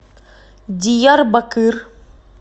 диярбакыр